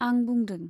आं बुंदों।